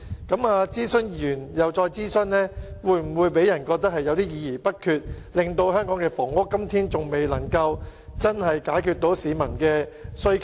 政府諮詢完後又再進行諮詢，會否予人議而不決之感，以致香港的房屋供應至今仍未能真正解決市民的需求？